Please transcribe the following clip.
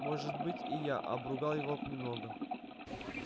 может быть и я обругал его немного